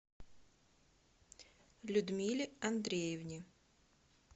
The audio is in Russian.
людмиле андреевне